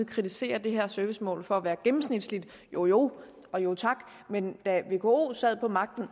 kritiserer det her servicemål for at være gennemsnitligt jo jo men da vko sad på magten